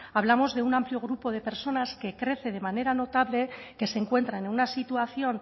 hablamos de un amplio grupo de personas que crece de manera notable que se encuentran en una situación